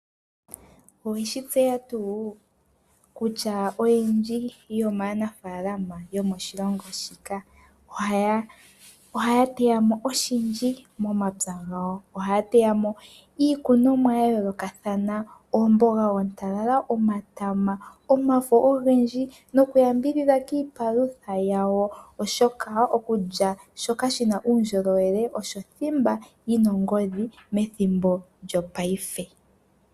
Owe shi tseya tuu kutya oyendji yomaanaafalama yomoshilongo shika ohaya teya mo oshindji momapya gawo. Ohaya teya mo iikunomwa ya yoolokathana ngaashi oomboga oontalala, omatama, omafo ogendji nokuyambidhidha kiipalutha yawo, shoka shi na uundjolowele osho thimba yi na ongodhi methimbo ndika lyopaife.